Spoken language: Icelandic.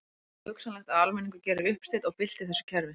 Er ekki hugsanlegt að almenningur geri uppsteyt og bylti þessu kerfi?